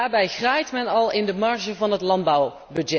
Daarbij graait men al in de marge van het landbouwbudget.